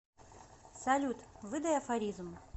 салют выдай афоризм